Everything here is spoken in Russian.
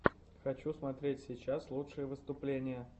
хочу смотреть сейчас лучшие выступления